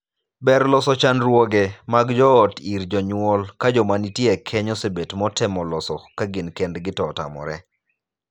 Ber loso chandruoge mag joot ir jonyuol ka joma nitie e keny osebet motemo loso ka gin kendgi to otamore.